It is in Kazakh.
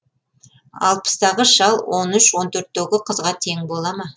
алпыстағы шал он үш он төртегі қызға тең бола ма